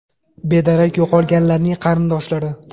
Bedarak yo‘qolganlarning qarindoshlari.